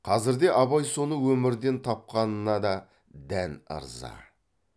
қазірде абай соны өмірден тапқанына да дән ырза